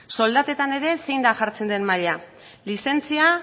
soldatetan ere zein da jartzen den maila lizentzia